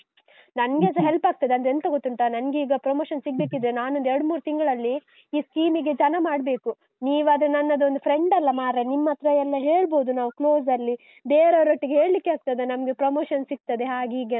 ನನ್ಗೆಸ help ಆಗ್ತದೆ. ಅಂದ್ರೆ ಎಂಥ ಗೊತ್ತುಂಟಾ, ನನ್ಗೆ ಈಗ promotion ಸಿಗ್ಬೇಕಿದ್ರೆ, ನಾನೊಂದು ಎರಡ್ಮೂರು ತಿಂಗಳಲ್ಲಿ, ಈ scheme ಇಗೆ ಜನ ಮಾಡ್ಬೇಕು. ನೀವಾದ್ರೆ ನನ್ನದೊಂದು friend ಅಲ್ಲ ಮಾರ್ರೆ, ನಿಮ್ಮತ್ರ ಎಲ್ಲ ಹೇಳ್ಬೋದು ನಾವು close ಅಲ್ಲಿ. ಬೇರೆಯವರೊಟ್ಟಿಗೆ ಹೇಳಿಕ್ಕೆ ಆಗ್ತದ, ನಮಗೆ promotion ಸಿಗುತ್ತದೆ ಹಾಗೆ ಹೀಗೆ